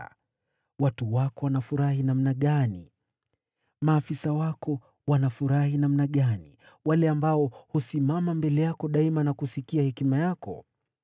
Heri watu wako! Heri hawa maafisa wako wasimamao mbele yako daima na kusikia hekima yako!